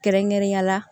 Kɛrɛnkɛrɛnnenya la